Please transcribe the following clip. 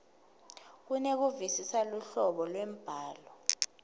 kunekuvisisa luhlobo lwembhalo